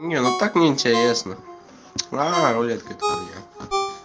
не ну так неинтересно рулетка это хуйня